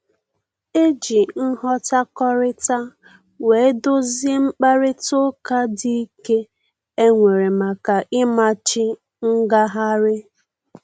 E ji nghọtakọrịta wee dozie mkparịta ụka dị ike e nwere maka ịmachi ngagharị